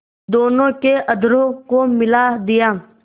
दोनों के अधरों को मिला दिया